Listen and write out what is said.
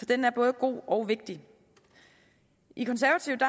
den er både god og vigtig i konservative